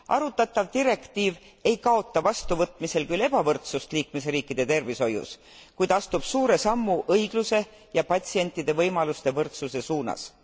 Arutatav direktiiv ei kaota vastuvõtmisel küll ebavõrdsust liikmesriikide tervishoius, kuid astub suure sammu õigluse ja patsientide võimaluste võrdsuse suunas.